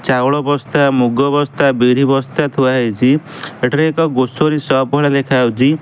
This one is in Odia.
ଚାଉଳ ବସ୍ତା ମୁଗ ବସ୍ତା ବିରି ବସ୍ତା ଥୁଆହେଇଚି ଏଠାରେ ଏକ ଗ୍ରୋସରି ସପ୍ ଭଳିଆ ଦେଖାଯାଉଚି ।